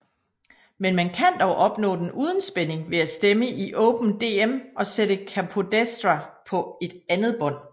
Men man kan dog opnå den uden spænding ved at stemme i Open Dm og sætte capodestra på andet bånd